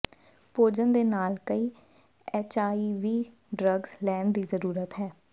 ਭੋਜਨ ਦੇ ਨਾਲ ਕਈ ਐੱਚਆਈਵੀ ਡਰੱਗਜ਼ ਲੈਣ ਦੀ ਜ਼ਰੂਰਤ ਹੈ